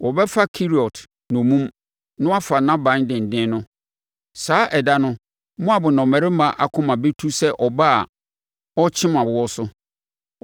Wɔbɛfa Keriot nnommum na wafa nʼaban denden no. Saa ɛda no Moab nnɔmmarima akoma bɛtu sɛ ɔbaa a ɔrekyem awoɔ so.